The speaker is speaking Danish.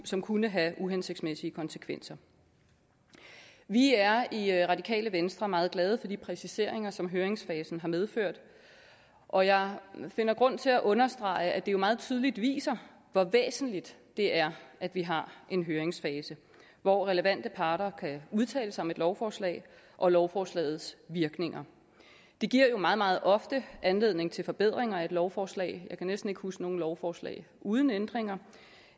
som kunne have uhensigtsmæssige konsekvenser vi er i radikale venstre meget glade for de præciseringer som høringsfasen har medført og jeg finder grund til at understrege at det jo meget tydeligt viser hvor væsentligt det er at vi har en høringsfase hvor relevante parter kan udtale sig om et lovforslag og lovforslagets virkninger det giver jo meget meget ofte anledning til forbedringer af et lovforslag jeg kan næsten ikke huske noget lovforslag uden ændringer